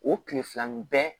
O tilefilanin bɛ